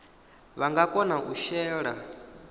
vha nga kona u shela